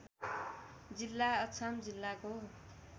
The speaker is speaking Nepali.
जिल्ला अछाम जिल्लाको